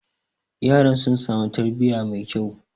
yaran sun sami tarbiyya mai kyau